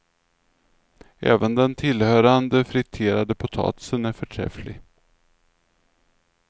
Även den tillhörande friterade potatisen är förträfflig.